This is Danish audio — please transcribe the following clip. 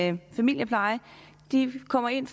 en familiepleje de kommer ind